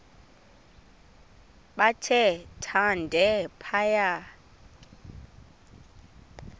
bathe thande phaya